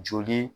Joli